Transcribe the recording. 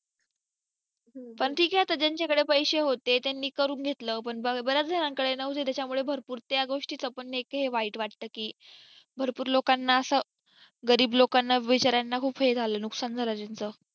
पण ठीक आहे जांच्याकडे पैसे होते त्यांनी करून घेतलं पण बऱ्याच जणांकडे नव्हते त्याच्यामुळे भरपूर त्या गोष्टी च पण एक हे वाईट वाटतं की भरपूर लोकांना असं गरीब लोकांना बिचार्यांना खूप हे झालं नुकसान झालं त्याच